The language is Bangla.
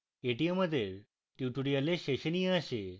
এটি আমাদের tutorial শেষে নিয়ে আসে